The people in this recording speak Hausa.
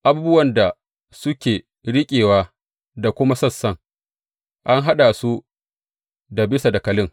Abubuwan da suke riƙewa da kuma sassan, an haɗa su da bisa dakalin.